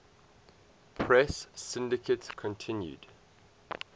press syndicate continued